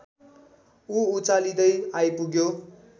ऊ उचालिँदै आइपुग्यो